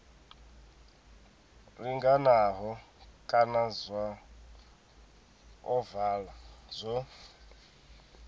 linganaho kana zwa ovala zwo